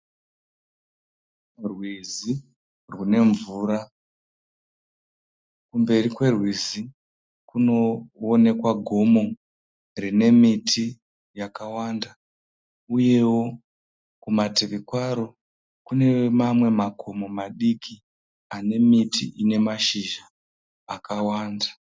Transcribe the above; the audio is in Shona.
Rwizi runemvura kumberi kwerwizi kunowonekwa gomo rinemiti yakawanda uyewo kumativi kwaro kune mamwe makomo madiki anemiti inemashizha akawanda.